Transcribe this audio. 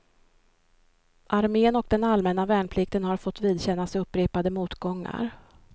Armén och den allmänna värnplikten har fått vidkännas upprepade motgångar.